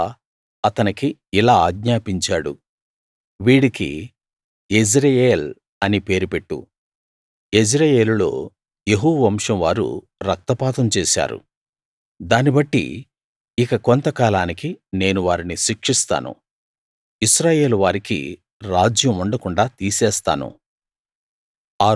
యెహోవా అతనికి ఇలా ఆజ్ఞాపించాడు వీడికి యెజ్రెయేల్ అని పేరు పెట్టు యెజ్రెయేలులో యెహూ వంశం వారు రక్తపాతం చేశారు దాన్ని బట్టి ఇక కొంతకాలానికి నేను వారిని శిక్షిస్తాను ఇశ్రాయేలువారికి రాజ్యం ఉండకుండాా తీసేస్తాను